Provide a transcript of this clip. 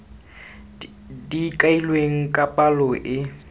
di kailweng ka palo e